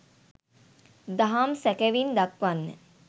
දහම් සැකැවින් දක්වන්න.